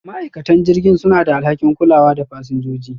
ma'aikatan jirgin suna da alhakin kulawa da fasinjoji.